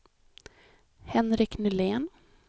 Henrik Nylén